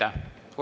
Aitäh!